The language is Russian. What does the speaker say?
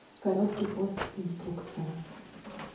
короткий пост инструкция